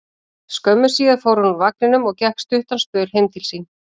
Skömmu síðar fór hann úr vagninum og gekk stuttan spöl heim til sín.